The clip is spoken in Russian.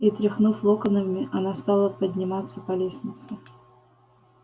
и тряхнув локонами она стала подниматься по лестнице